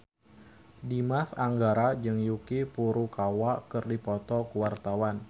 Dimas Anggara jeung Yuki Furukawa keur dipoto ku wartawan